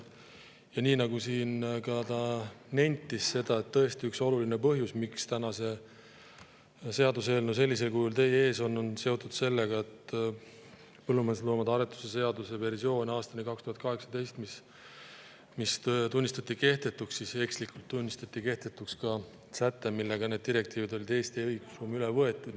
Nagu ta siin ka nentis, tõesti, üks oluline põhjus, miks täna see seaduseelnõu sellisel kujul teie ees on, on see, et kui põllumajandusloomade aretuse seaduse versioon aastani 2018 tunnistati kehtetuks, siis ekslikult tunnistati kehtetuks ka säte, millega need direktiivid olid Eesti õigusruumi üle võetud.